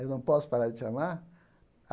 Eu não posso parar de te amar.